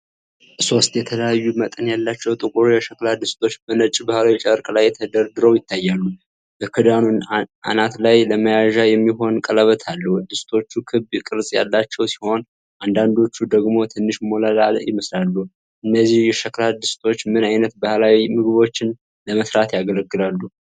ሶስት የተለያዩ መጠን ያላቸው ጥቁር የሸክላ ድስቶች በነጭ ባህላዊ ጨርቅ ላይ ተደርድረው ይታያሉ። በክዳኑ አናት ላይ ለመያዣ የሚሆን ቀለበት አለው። ድስቶቹ ክብ ቅርጽ ያላቸው ሲሆን፣ አንዳንዶቹ ደግሞ ትንሽ ሞላላ ይመስላሉ። እነዚህ የሸክላ ድስቶች ምን ዓይነት ባህላዊ ምግቦችን ለመሥራት ያገለግላሉ?